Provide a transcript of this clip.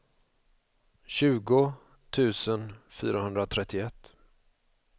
tjugo tusen fyrahundratrettioett